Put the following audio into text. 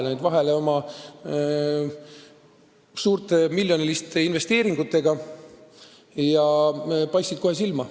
Nad jäid vahele suurte, miljoniliste investeeringutega, nad paistsid kohe silma.